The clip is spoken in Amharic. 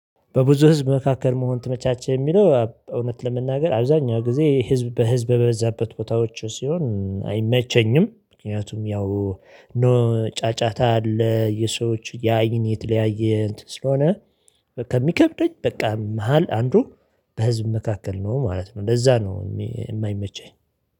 በብዙ ህዝብ መካከል መሆን ትመቻቸው የሚለው እውነት ለመናገር አብዛኛው ጊዜ ህዝብ በህዝብ በበዛበት ቦታዎች ሲሆን አይመቸኝም፤ ምክንያቱም ያው ኖ ጫጫታ አለ፤ የሰዎች ያይን የተለያየ ስለሆነ ከሚከብደኝ በቃ መሃል አንዱ በህዝብ መካከል ነው ማለት ነው ለዚያ ነው የማይመቸኝ።